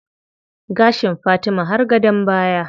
Gashin Fatima har gadon baya.